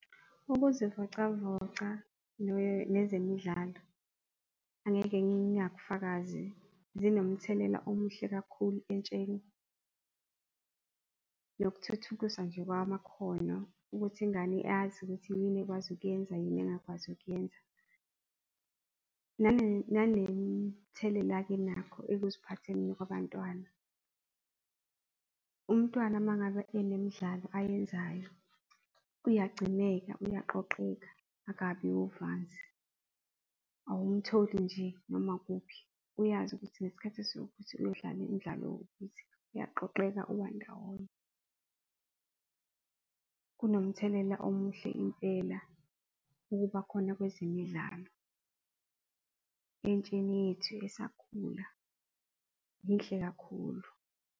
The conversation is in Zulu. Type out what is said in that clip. Ukuzivocavoca nezemidlalo angeke ngingakufakazi zinomthelela omuhle kakhulu entsheni nokuthuthukiswa nje kwamakhono ukuthi ingane yazi ukuthi yini ekwazi ukuyenza, yini engakwazi ukuyenza, nanemithelela-ke enakho ekuziphatheni kwabantwana. Umntwana mangabe enemidlalo ayenzayo, uyagcineka, uyaqoqeka akabi uvanzi, awumtholi nje noma kuphi uyazi ukuthi ngesikhathi esiwukuthi uyodlala imidlalo ewukuthi, uyaqoqeka ubandawonye nomthelela omuhle impela ukuba khona kwezemidlalo entsheni yethu esakhula yinhle kakhulu.